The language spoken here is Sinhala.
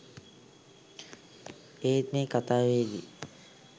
ඒත් මේ කතාවේදී